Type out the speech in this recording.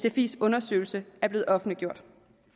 at sfis undersøgelse var blevet offentliggjort